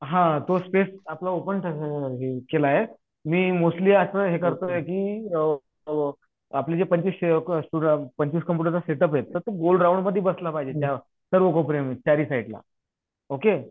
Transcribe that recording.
हा तो स्पेस आपला ओपन केला मी कि ओ आपले जे पंचवीस कॉम्पुटरच सेट उप हे तो गोल रॉउडमधी बसला पाहिजे सर्व कोपऱ्याला चारही साईडला ओके